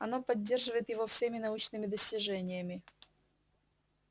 оно поддерживает его всеми научными достижениями